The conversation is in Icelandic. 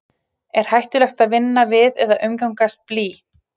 er hættulegt að vinna við eða umgangast blý